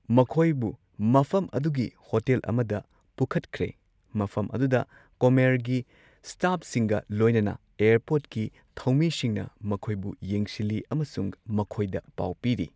ꯃꯈꯣꯏꯕꯨ ꯃꯐꯝ ꯑꯗꯨꯒꯤ ꯍꯣꯇꯦꯜ ꯑꯃꯗ ꯄꯨꯈꯠꯈ꯭ꯔꯦ, ꯃꯐꯝ ꯑꯗꯨꯗ ꯀꯣꯝꯑꯦꯌꯔꯒꯤ ꯁ꯭ꯇꯥꯐꯁꯤꯡꯒ ꯂꯣꯏꯅꯅ ꯑꯦꯌꯔꯄꯣꯔꯠꯀꯤ ꯊꯧꯃꯤꯁꯤꯡꯅ ꯃꯈꯣꯏꯕꯨ ꯌꯦꯡꯁꯤꯜꯂꯤ ꯑꯃꯁꯨꯡ ꯃꯈꯣꯏꯗ ꯄꯥꯎ ꯄꯤꯔꯤ꯫